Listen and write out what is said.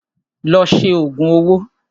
Lọ ṣe òògùn owó!